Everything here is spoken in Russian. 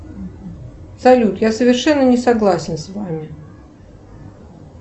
салют я совершенно не согласен с вами